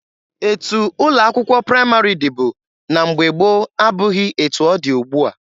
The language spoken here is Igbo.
Etu ụlọ akwụkwọ praịmarị dịbu na mgbe gboo abụghị etu ọ dị ugbua.